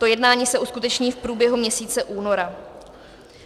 To jednání se uskuteční v průběhu měsíce února.